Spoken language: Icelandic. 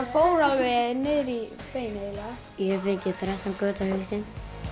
fór alveg niður í bein eiginlega ég hef fengið þrettán göt á hausinn